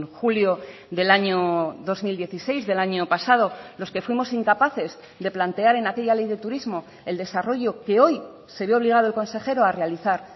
julio del año dos mil dieciséis del año pasado los que fuimos incapaces de plantear en aquella ley de turismo el desarrollo que hoy se ve obligado el consejero a realizar